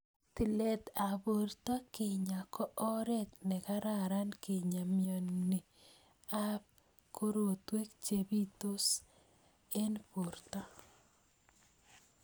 Tilet ap porto kinyaa ko oret ne kararan kinyaa mioni ap korotwek che pitos ing porto.